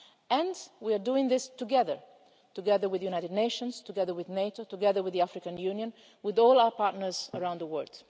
us, and we are doing this together together with the United Nations, together with NATO, together with the African Union, and with all our partners around the